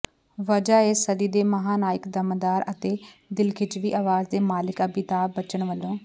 ਵਜ੍ਹਾ ਏ ਸਦੀ ਦੇ ਮਹਾਨਾਇਕ ਦਮਦਾਰ ਅਤੇ ਦਿਲਖਿੱਚਵੀਂ ਅਵਾਜ਼ ਦੇ ਮਾਲਕ ਅਮਿਤਾਭ ਬੱਚਨ ਵੱਲੋਂ